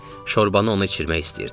Şorbanı o içmək istəyirdi.